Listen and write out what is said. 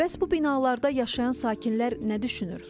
Bəs bu binalarda yaşayan sakinlər nə düşünür?